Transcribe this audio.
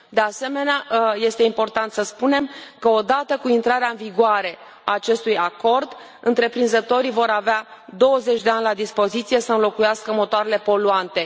De asemenea, este important să spunem că, odată cu intrarea în vigoare a acestui acord, întreprinzătorii vor avea 20 de ani la dispoziție să înlocuiască motoarele poluante.